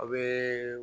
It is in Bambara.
A bɛ